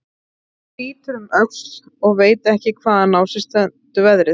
Hún lítur um öxl og veit ekki hvaðan á sig stendur veðrið.